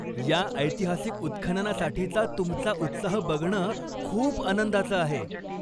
या ऐतिहासिक उत्खननासाठीचा तुमचा उत्साह बघणं खूप आनंदाचं आहे!